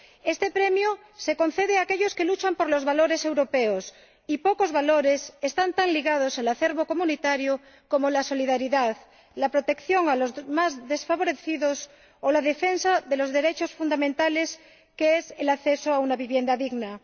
Este premio se concede a aquellos que luchan por los valores europeos y pocos valores están tan ligados al acervo comunitario como la solidaridad, la protección de los más desfavorecidos o la defensa de los derechos fundamentales como es el acceso a una vivienda digna.